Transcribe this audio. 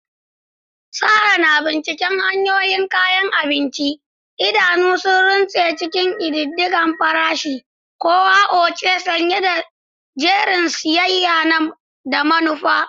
Sarah na binciken hanyoyin kayan abinci, idanu sun runtse cikin ƙididdige farashi-kowa-oce, sanye da jerin siyayya da manufa.